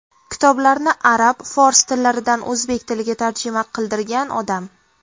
Kitoblarni arab, fors tillaridan o‘zbek tiliga tarjima qildirgan odam.